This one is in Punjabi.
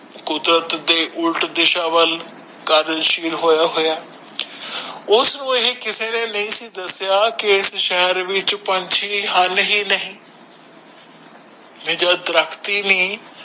ਕੁਦਰਤ ਦੇ ਉਲਟ ਦਿਸ਼ਾ ਵਲ ਹੋਯਾ ਹੋਯਾ ਉਸਨੂੰ ਏਹ ਕਿਸੇ ਨੇ ਨਹੀਂ ਸੀ ਦਸਿਆ ਕੇ ਇਸ ਸ਼ਹਿਰ ਵਿੱਚ ਪੰਛੀ ਹਨ ਹੀ ਨਹੀਂ ਵੀ ਜਦ ਦਰਖ਼ਤ ਹੀ ਨੀ